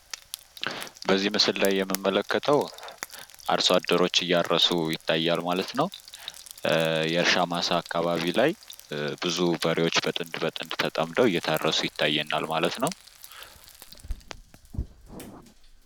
በዚህ ምስል ላይ የምመለከትው አርሶ አደሮች እያረሱ ይታያል ማለት ነው ።የእርሻ ማሳ አካባቢ ላይ ብዙ በሬዎች ተጠምደው እየታረሱ ይታዩናል ማለት ነው ።